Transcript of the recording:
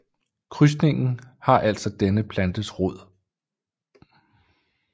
Krydsningen har altså denne plantes rod